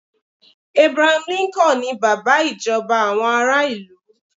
Abraham Lincoln ni bàbá ìjọba àwọn ará ilu